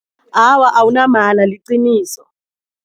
Awa awunamala liqiniso.